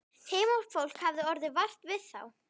Heimafólk hafði orðið vart við þá.